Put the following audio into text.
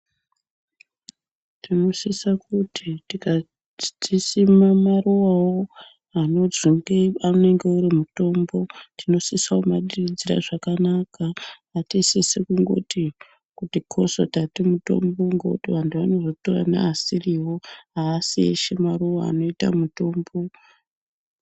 Tinosisa kuti tikati tisime maruvavo anozonge anenge ane mutombo. Tinosisa kumadiridzira zvakanaka hatisisi kungoti kuti koso tatomumutombo antu anozotora neasirivo, haasi eshe maruva anoita mutombo.